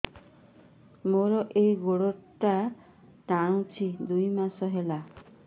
ମୋର ଏଇ ଗୋଡ଼ଟା ଟାଣୁଛି ଦୁଇ ମାସ ହେଲା